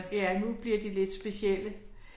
Ja nu bliver de lidt specielle